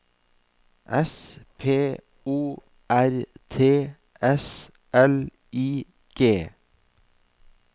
S P O R T S L I G